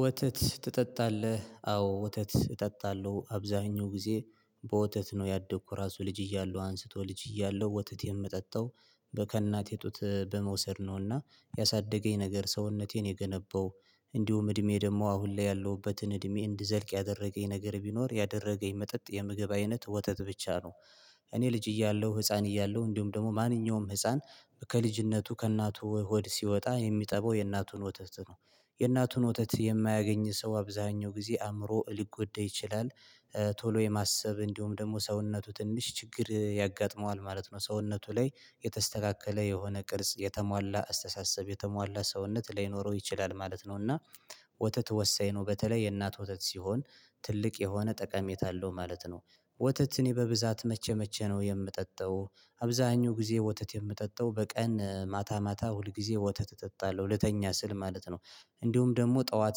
ወተት ትጠጣለህ አዎ ወተት እጠጣለሁ አብዛኛው ጊዜ በወተት ነው ያደኩ ራሱ ልጅ እያለው አንስቶ ልጅ እያለሁ ወተት የምጠጣው ከእናቴ ጡት በመውሰድ ነውና ያሳደገኝ ነገር ሰውነቴን የገነባው እንዲሁም እድሜ ደግሞ አሁን ላይ ያለሁበትን እድሜ እንድዘልቅ ያደረገኝ ነገር ቢኖር ያደረገኝ መጠጥ የምግብ አይነት ወተት ብቻ ነው። እኔ ልጅ እያለሁ ህፃን እያለሁ እንዲሁም ደግሞ ማንኛውም ህፃን ከልጅነቱ ከእናቱ ሆድ ሲወጣ የሚጠበው የእናቱን ወተት ነው የእናቱን ወተት የማያገኝ ሰው አብዛኛው ጊዜ አእምሮ ሊጎደ ይችላል። ቶሎ የማሰብ እንዲሁም ደግሞ ሰውነቱ ትንሽ ችግር ያጋጥመዋል ማለት ነው ሰውነቱ ላይ የተስተካከለ የሆነ ቅርጽ የተሟላ አስተሳሰብ የተሟላ ሰውነት ላይኖረው ይችላል ማለት ነው። እና ወተት ወሳኝ ነው በተለይ የእናት ወተት ሲሆን ትልቅ የሆነ ጠቀሜታ አለው ማለት ነው። ወተት እኔ በብዛት መቼ መቼ ነው የምጠጣው አብዛኛው ጊዜ ወተት የምጠጣው በቀን ማታ ማታ ሁል ጊዜ ወተት እጠጣለሁ ልተኛ ስል ማለት ነው። እንዲሁም ደግሞ ጠዋት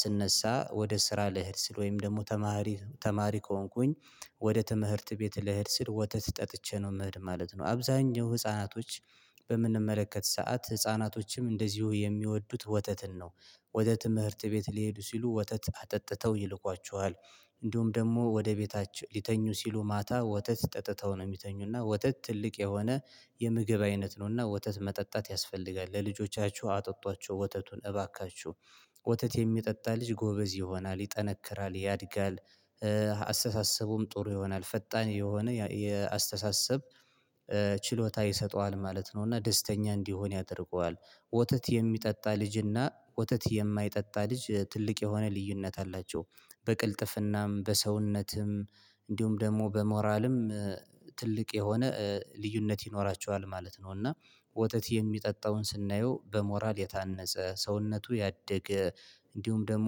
ስነሳ ወደ ስራ ልሄድ ስል ወይም ደግሞ ተማሪ ተማሪ ከሆንኩኝ ወደ ትምህርት ቤት ለሄድ ስል ወተት ጠጥቼ ነው ምሄድ ማለት ነው። አብዛኛው ህፃናቶች በምንመለከት ሰዓት ህፃናቶችም እንደዚሁ የሚወዱት ወተትን ነው። ወደ ትምህርት ቤት ሊሄዱ ሲሉ ወተት አጠጥተው ይልኳቸዋል። እንዲሁም ደግሞ ወደ ቤታችሁ ሊተኙ ሲሉ ማታ ወተት ጠጥተው ነው የሚተኙና ወተት ትልቅ የሆነ የምግብ አይነት ነውና ወተት መጠጣት ያስፈልጋል ለልጆቻችሁ አጠጧቸው ወተቱን እባካችሁ ወተት የሚጠጣ ልጅ ጎበዝ ይሆናል ይጠነክራል ያድጋል። አስተሳሰቡም ጥሩ ይሆናል ፈጣን የሆነ የአስተሳሰብ ችሎታ ይሰጠዋል ማለት ነው እና ደስተኛ እንዲሆን ያደርገዋል። ወተት የሚጠጣ ልጅና ወተት የማይጠጣ ልጅ ትልቅ የሆነ ልዩነት አላቸው በቅልጥፍናም በሰውነትም እንዲሁም ደግሞ በሞራልም ትልቅ የሆነ ልዩነት ይኖራቸዋል ማለት ነው። እና ወተት የሚጠጣውን ስናየው በሞራል የታነጸ ሰውነቱ ያደገ እንዲሁም ደግሞ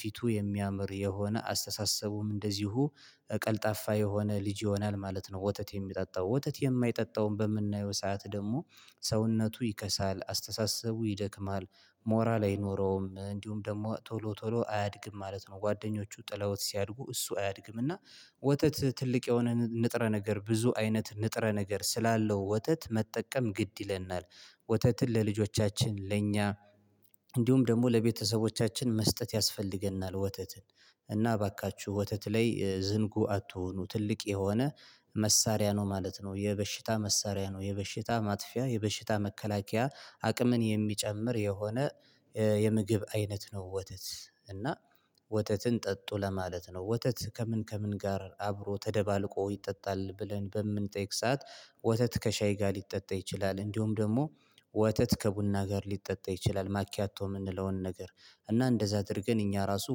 ፊቱ የሚያምር የሆነ አስተሳሰቡም እንደዚሁ ቀልጣፋ የሆነ ልጅ ይሆናል ማለት ነው። ወተት የሚጠጣው ወተት የማይጠጣውን በምናየው ሰዓት ደግሞ ሰውነቱ ይከሳል አስተሳሰቡ ይደክማል ሞራል አይኖረውም እንዲሁም ደግሞ ቶሎ ቶሎ አያድግም ማለት ነው። ጓደኞቹ ጥለውት ሲያድጉ እሱ አያድግም እና ወተት ትልቅ የሆነ ንጥረ ነገር ብዙ አይነት ንጥረ ነገር ስላለው ወተት መጠቀም ግድ ይለናል። ወተትን ለልጆቻችን ለእኛ እንዲሁም ደግሞ ለቤተሰቦቻችን መስጠት ያስፈልገናል። ወተትን እና እባካችሁ ወተት ላይ ዝንጉ አትሁኑ ትልቅ የሆነ መሳሪያ ነው ማለት ነው። የበሽታ መሳሪያ ነው የበሽታ ማጥፊያ የበሽታ መከላከያ አቅምን የሚጨምር የሆነ የምግብ አይነት ነው። ወተት እና ወተትን ጠጡ ለማለት ነው። ወተት ከምን ከምን ጋር አብሮ ተደባልቆ ይጠጣል ብለን በምንጠይቅ ሰዓት ወተት ከሻይ ጋር ሊጠጣ ይችላል። እንዲሁም ደግሞ ወተት ከቡና ጋር ሊጠጣ ይችላል ማኪያቶ የምንለውን ነገር እና እንደዛ አድርገን እኛ ራሱ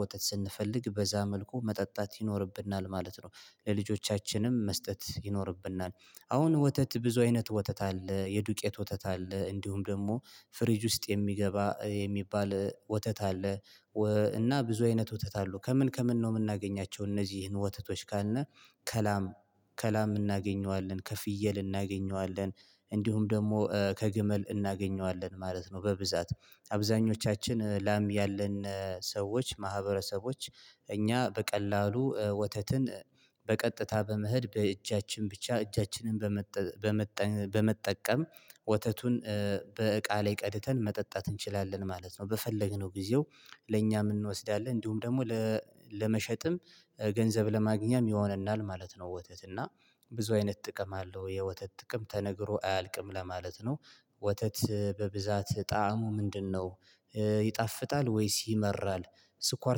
ወተት ስንፈልግ በዚያ መልኩ መጠጣት ይኖርብናል ማለት ነው። ለልጆቻችንም መስጠት ይኖርብናል። አሁን ወተት ብዙ አይነት ወተት አለ የዱቄት ወተት አለ እንዲሁም ደግሞ ፍሪጅ ውስጥ የሚገባ የሚባል ወተት አለ። እና ብዙ አይነት ወተት አሉ ከምን ከምን ነው የምናገኛቸው እነዚህን ወተቶች ካልን ከላም ከላም እናገኘዋለን ከፍየል እናገኘዋለን እንዲሁም ደግሞ ከግመል እናገኘዋለን ማለት ነው። በብዛት አብዛኞቻችን ላም ያለን ሰዎች ማህበረሰቦች እኛ በቀላሉ ወተትን በቀጥታ በመሄድ በእጃችን ብቻ እጃችንን በመጠቀም ወተቱን በእቃ ላይ ቀድተን መጠጣት እንችላለን ማለት ነው። በፈለግነው ጊዜው ለእኛ የምንወስደው እንዲሁም ደግሞ ለመሸጥም ገንዘብ ለማግኘትም ይሆነናል ማለት ነው። ወተት እና ብዙ አይነት ጥቅም አለው የወተት ጥቅም ተነግሮ አያልቅም ለማለት ነው። ወተት በብዛት ጣዕሙ ምንድነው ይጣፍጣል ወይስ ይመራል? ስኳር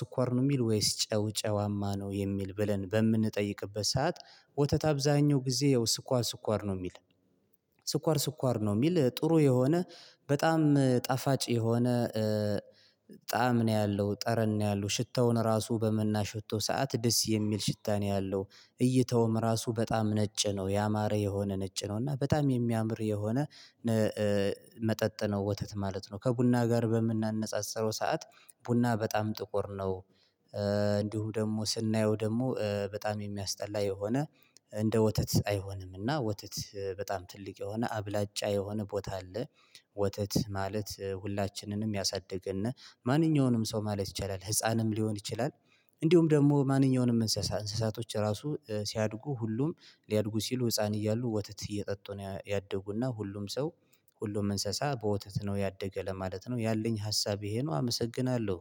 ስኳር ነው የሚል ወይስ ጨው ጨዋማ ነው የሚል ብለን በምንጠይቅበት ሰዓት? ወተት አብዛኛው ጊዜ ያው ስኳር ስኳር ነው የሚል ስኳር ስኳር ነው የሚል ጥሩ የሆነ በጣም ጣፋጭ የሆነ ጣዕም ነው ያለው ጠረን ነው ያለው ሽታውን ራሱ በመናሸተው ሰዓት ደስ የሚል ሽታ ነው ያለው። እይተውም ራሱ በጣም ነጭ ነው ያማረ የሆነ ነጭ ነው እና በጣም የሚያምር የሆነ መጠጥ ነው ወተት ማለት ነው። ከቡና ጋር በምናነጻጽረው ሰዓት ቡና በጣም ጥቁር ነው። እንዲሁ ደግሞ ስናየው ደግሞ በጣም የሚያስጠላ የሆነ እንደ ወተት አይሆንም። እና ወተት በጣም ትልቅ የሆነ አብላጫ የሆነ ቦታ አለ። ወተት ማለት ሁላችንንም ያሳድግና ማንኛውንም ሰው ማለት ይቻላል ህፃንም ሊሆን ይችላል። እንዲሁም ደግሞ ማንኛውንም እንስሳ እንስሳቶች ራሱ ሲያድጉ ሁሉም ሊያድጉ ሲሉ ህፃን እያሉ ወተት እየጠጡ ነው ያደጉና ሁሉም ሰው ሁሉም እንስሳ በወተት ነው ያደገ ለማለት ነው። ያለኝ ሀሳብ ይሄ ነው። አመሰግናለሁ